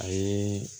A ye